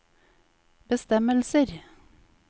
bestemmelser